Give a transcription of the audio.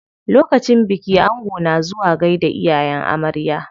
Lokacin biki ango na zuwa gaida iyayen amarya.